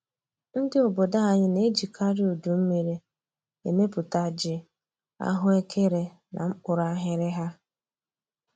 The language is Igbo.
Ndị obodo anyị na-ejikarị udu mmiri emepụta ji, ahụekere na mkpụrụ aghịrịgha